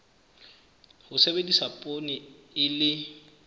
ho sebedisa poone e le